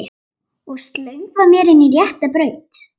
Og slöngva mér inn á rétta braut.